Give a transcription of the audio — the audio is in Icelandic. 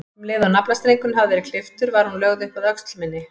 Um leið og naflastrengurinn hafði verið klipptur var hún lögð upp að öxl minni.